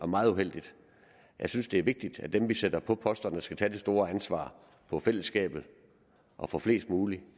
meget uheldigt jeg synes det er vigtigt i dem vi sætter på posterne til at tage det store ansvar for fællesskabet og for flest mulige